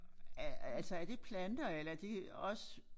Øh altså er det planter eller er det også